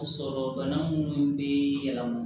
Sɔrɔ bana munnu be yɛlɛma